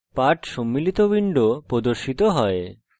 পাঠ সম্মিলিত window প্রদর্শিত হয়